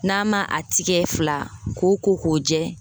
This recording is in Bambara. N'a ma a tigɛ fila, ko k'o jɛ